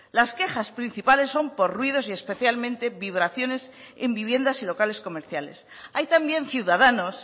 las quejas principales son por ruidos especialmente vibraciones en viviendas y locales comerciales hay también ciudadanos